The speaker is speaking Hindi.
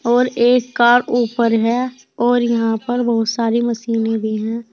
और एक कार ऊपर है और यहां पर बहुत सारी मशीने भी हैं।